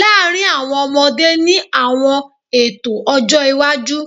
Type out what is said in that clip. laarin awọn ọmọde ni awọn eto ọjọ iwaju?